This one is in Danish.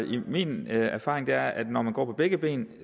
min erfaring er at når man går på begge ben